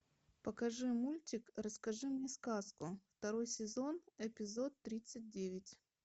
покажи мультик расскажи мне сказку второй сезон эпизод тридцать девять